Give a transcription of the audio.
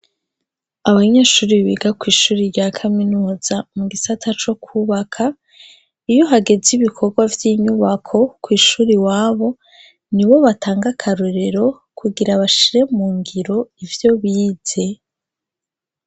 Abanyeshuri biga kw'ishure rya kaminuza mu gisata co kubaka, iyo hageze ibikorwa vy'inyubako kw'ishure iwabo, ni bo batanga akarorero kugira bashire mu ngiro ivyo bize.